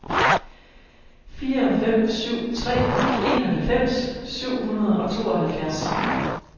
fire fem syv tre enoghalvfems syv hundrede og tooghalvfjerds